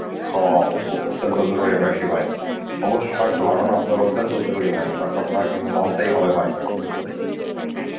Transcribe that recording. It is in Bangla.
খাওয়া ও~ অত্যন্ত বেশি জরুরি বেশি ভাই. সবুজ শাক লাগানো আপনার অত্যন্ত জরুরি ভাই এটাকে আপনাকে কিন্তু মানতেই হবে ভাই.